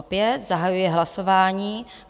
Opět zahajuji hlasování.